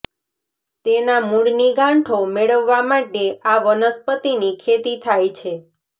તેના મૂળની ગાંઠો મેળવવા માટે આ વનસ્પતિની ખેતી થાય છે